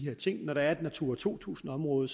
ting når der er et natura to tusind område